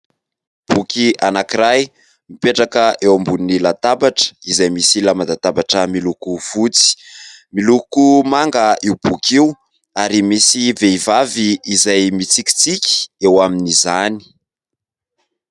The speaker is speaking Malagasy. Boky anankiray mipetraka eo ambonin'ny latabatra izay misy lamba latabatra miloko fotsy, miloko manga io boky io ary misy vehivavy izay mitsikitsiky eo amin'izany.